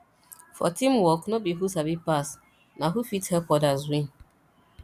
for teamwork no be who sabi pass na who fit help others win